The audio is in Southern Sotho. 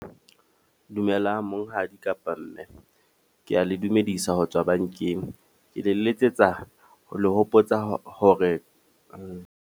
Dumela monghadi kapa mme. Ke a le dumedisa ho tswa bankeng. Ke le letsetsa ho le hopotsa hore .